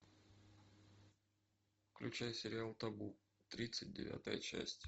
включай сериал табу тридцать девятая часть